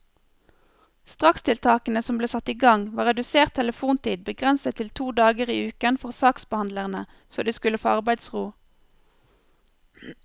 Strakstiltakene som ble satt i gang, var redusert telefontid begrenset til to dager i uken for saksbehandlerne, så de skulle få arbeidsro.